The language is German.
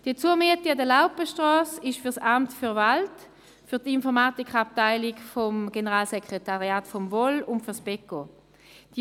Die Zumiete an der Laupenstrasse ist für das Kantonale Amt für Wald (KAWA) für die Informatikabteilung des Generalssekretariats der VOL sowie für das beco Berner Wirtschaft.